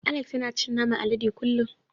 Alex yan cin naman alade kullun.